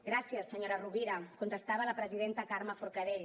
gràcies senyora rovira contestava la presidenta carme forcadell